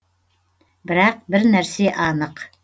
бірақ бір нәрсе анық